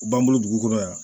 U b'an bolo dugu kɔnɔ yan